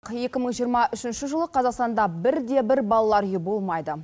екі мың жиырма үшінші жылы қазақстанда бірде бір балалар үйі болмайды